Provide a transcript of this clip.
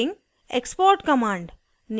* export command export command